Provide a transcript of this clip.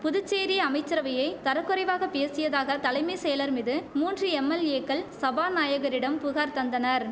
புதுச்சேரி அமைச்சரவையை தரக்குறைவாக பேசியதாக தலைமை செயலர் மீது மூன்று எம்எல்ஏக்கள் சபாநாயகரிடம் புகார் தந்தனர்